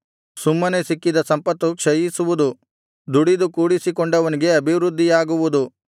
ಸುಮ್ಮನೆ ಸಿಕ್ಕಿದ ಸಂಪತ್ತು ಕ್ಷಯಿಸುವುದು ದುಡಿದು ಕೂಡಿಸಿಕೊಂಡವನಿಗೆ ಅಭಿವೃದ್ಧಿಯಾಗುವುದು